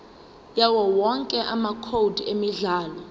yawowonke amacode emidlalo